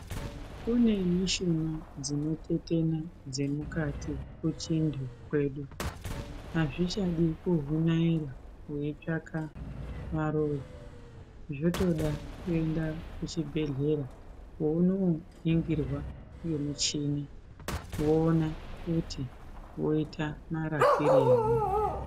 Kune mishuna dzinotetena dzemukati kuchintu kwedu. Azvichadi kuvhunaira weitsvaka varoyi. Zvotoda kuenda kuchibhedhlera kwounoningirwa ngemuchini ,voona kuti voita marapirei.